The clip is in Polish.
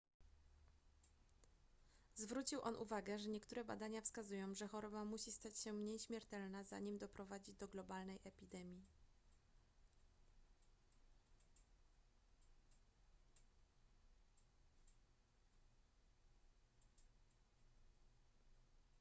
zwrócił on uwagę że niektóre badania wskazują że choroba musi stać się mniej śmiertelna zanim doprowadzi do globalnej epidemii